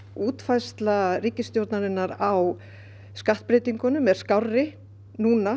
útfærsla ríkisstjórnarinnar á skattbreytingunum er skárri núna